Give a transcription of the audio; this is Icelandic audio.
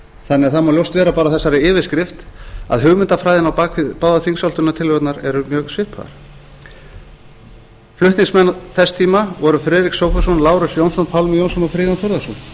þannig að það má ljóst vera að bara á þessari yfirskrift að hugmyndafræðin á bak við báðar þingsályktunartillögurnar eru mjög svipaðar flutningsmenn þess tíma voru friðrik sófusson lárus jónsson pálmi jónsson og friðjón þórðarson